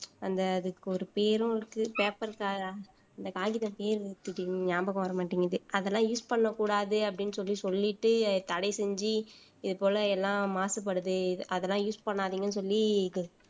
அந்த அதுக்கு ஒரு பேரும் இருக்கு paper இந்த காகித பேர் ஞாபகம் வர மாட்டேங்குது அதெல்லாம் use பண்ணக் கூடாது அப்படின்னு சொல்லி சொல்லிட்டு தடை செஞ்சு இது போல எல்லா மாசுபடுது அதெல்லாம் use பண்ணாதீங்கன்னு சொல்லி